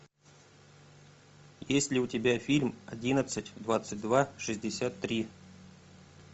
есть ли у тебя фильм одиннадцать двадцать два шестьдесят три